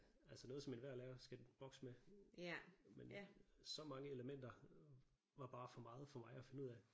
Altså noget som enhver lærer skal bokse med men så mange elementer var bare for meget for mig at finde ud af